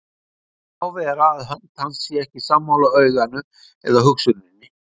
Má vera að hönd hans sé ekki sammála auganu eða hugsuninni.